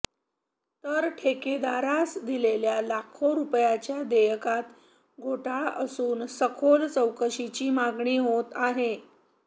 तर ठेकेदारास दिलेल्या लाखो रुपयांच्या देयकात घोटाळा असुन सखोल चौकशीची मागणी होत आहे